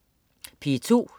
P2: